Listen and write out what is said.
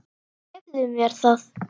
Leyfðu mér það,